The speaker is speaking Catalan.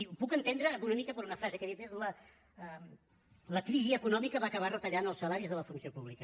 ho puc entendre una mica per una frase que ha dit la crisi econòmica va acabar retallant els salaris de la funció pública